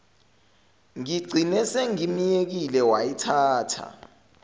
ngigcine sengimyekile wayithatha